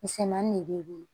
Misɛmanin de b'e bolo